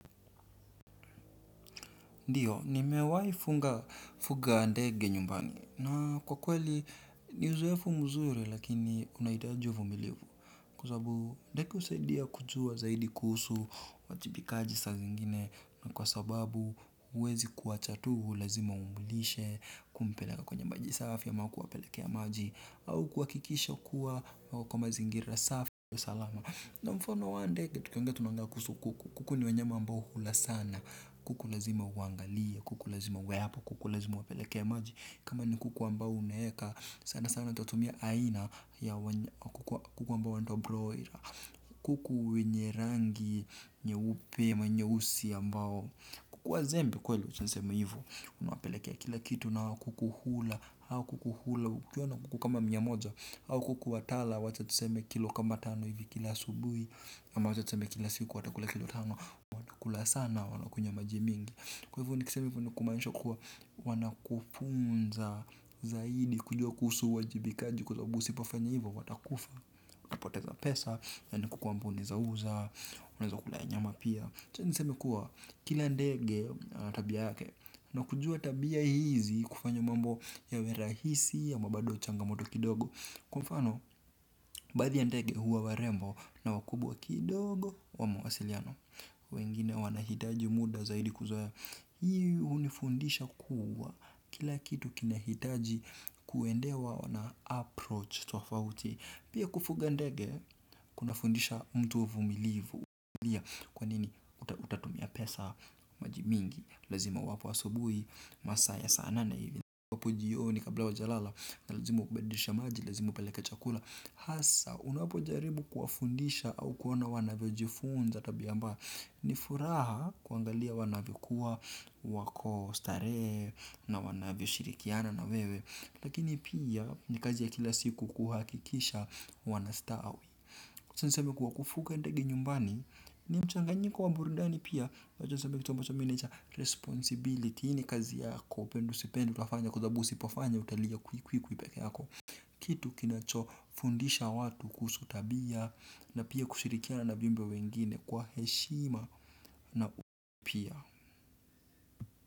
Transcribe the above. Ndiyo, nimewahi funga fuga ndege nyumbani na kwa kweli ni uzoefu mzuri lakini unahidaji uvumilivu Kuzabu ndeke usaidia kujua zaidi kusu wajibikaji sa zingine na kwa sababu uwezi kuachatuhu lazima umulishe kumpeleka kwenye majisafi ya makuwa pelekea maji au kuwakikisha kuwa wakomazi ingira safi ya salama. Kwa mfano wa ndege tukiongea tunaongea kuhusu kuku. Kuku ni wanyama ambao hula sana. Kuku lazima uwangalie, kuku lazima uwe hapo, kuku lazima uwapelekee maji. Kama ni kuku ambao umeeka, sana sana tutatumia aina kuku ambao wanaitwa 'broiler' kuku wenye rangi nyeupe ama nyeusi ambao, kuku wazembe kweli. Acha niseme hivo. Unawapelekea kila kitu na kuku hula, hao kuku hula. Kuku kama mia moja, kuku watala, wacha tuseme kilo kama tano hivi kila asubuhji, ama wacha tuseme kila siku watakula kila tano, watakula sana wanakunywa maji mingi. Kwa hivo nikisema hivo ni kumaaisha kuwa, wanakufunza zaidi kujua kuhusu uwajibikaji kwa sababu usipofanya hivo, watakufa. Unapoteza pesa, hii ni kwa kwamba unaweza uza, unaweza kukula nyama pia. Acha niseme kuwa, kila ndege ana tabia yake, na kujua tabia hizi, hufanya mambo yawe rahisi ama bado changamoto kidogo. Kwa mfano baadhi ya ndege huwa warembo na wakubwa kidogo wa mawasiliano. Wengine wanahitaji muda zaidi kuzoea. Hi hunifundisha kuwa, kila kitu kinahitaji kuendewa na 'approach' tofauti. Pia kufuga ndege, kunafundisha mtu uvumilivu. Kwani utakuta unatumia pesa. Maji mingi lazima uwape asubuhi, masaa ya saa nane hivi, ambapo jioni kabla hawajalala lazima ubadilishe maji, lazima uwapelekee chakula, hasa unapojaribu kuwafundisha au kuona wanavyojifunza tabia ambayo ni furaha kuangalia wanavyokua, wako starehe na wanavyo shirikiana na wewe. Lakini pia ni kazi ya kila siku kuhakikisha wanastawi. Kwa kufuga ndegi nyumbani, ni mchanganyiko wa burundani pia, unajua sababu kitu ambacho 'Responsibility' hii ni kazi yako upende usipende utafanya kwa sababu usipafanya utalia kwi kwi kwi peke yako. Kitu kinacho fundisha watu kuhusu tabia na pia kushirikiana viumbe wengine kwa heshima na pia.